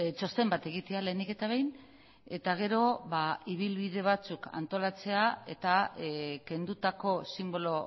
txosten bat egitea lehenik eta behin eta gero ibilbide batzuk antolatzea eta kendutako sinbolo